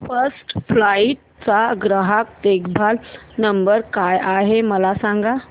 first flight चा ग्राहक देखभाल नंबर काय आहे मला सांग